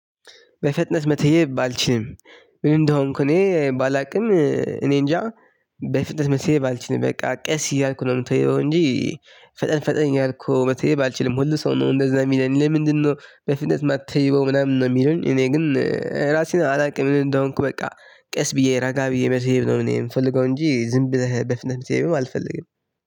በፍጥነት መተየብ አልችልም። ምን እንደሆንኩ እኔ ባላውቅም እኔንጃ። በፍጥነት መተየብ አልችልም በቃ ቀስ እያልኩ ነው የምተይበው እንጂ። ፈጠን ፈጠን እያልኩ መተየብ አልችልም። ሁሉ ሰው ነው እንደዛ የሚለኝ ለምንድነው? በፍጥነት ማተይበው ምናምን ነው የሚሉኝ እኔ ግን እራሴን አላውቅም። ምን እንደሆንኩ በቃ ቀስ ብዬ ረጋ ብዬ መተየብ ነው። እኔ የምፈልገው እንጂ ዝም ብለህ በፍጥነት መተየብም አልፈልግም።